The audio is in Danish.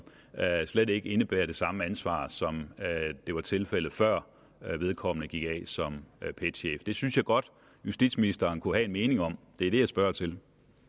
altså slet ikke indebærer det samme ansvar som det var tilfældet før vedkommende gik af som pet chef det synes jeg godt justitsministeren kunne have en mening om det er det jeg spørger til